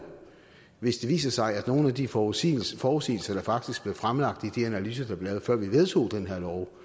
hvis det viser sig at nogle af de forudsigelser forudsigelser der faktisk blev fremlagt i de analyser der blev lavet før vi vedtog den her lov